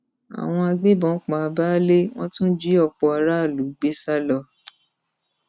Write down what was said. àwọn agbébọn pa baálé wọn tún jí ọpọ aráàlú gbé sá lọ